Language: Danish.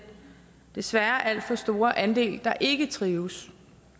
desværre alt for store andel der ikke trives